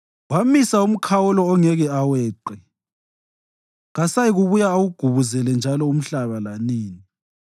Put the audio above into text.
Wamisa umkhawulo angeke aweqe; kasayikubuya awugubuzele njalo umhlaba lanini.